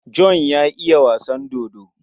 John ya iya wasan dodo.